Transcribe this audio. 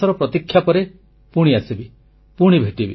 ଗୋଟିଏ ମାସର ପ୍ରତୀକ୍ଷା ପରେ ପୁଣି ଆସିବି